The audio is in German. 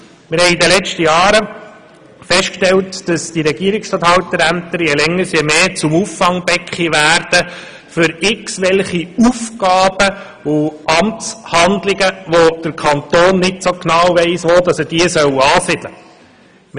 Wir haben in den letzten Jahren festgestellt, dass diese je länger je mehr zu Auffangbecken für irgendwelche Aufgaben und Amtshandlungen werden, bei denen der Kanton nicht so genau weiss, wo er diese ansiedeln soll.